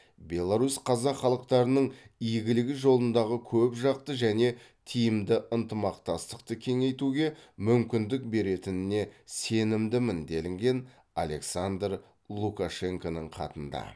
беларусь қазақ халықтарының игілігі жолындағы көпжақты және тиімді ынтымақтастықты кеңейтуге мүмкіндік беретініне сенімдімін делінген александр лукашенконың хатында